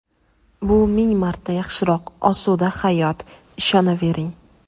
Bu ming marta yaxshiroq osuda hayot, ishonavering.